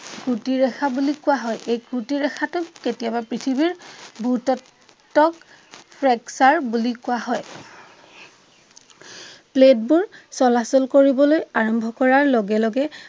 কুটিৰ ৰেখা বুলি কোৱা হয়। এই কুটিৰ ৰেখাটোক কেতিয়াবা পৃথিৱীৰ ভূ-তত্ত্বক ফ্ৰেকচাৰ বুলি কোৱা হয়। প্লেট বোৰ চলাচল কৰিবলৈ আৰম্ভ কৰাৰ লগে লগে